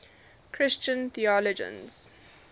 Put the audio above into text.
christian theologians